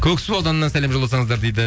көксу ауданынан сәлем жолдасаңыздар дейді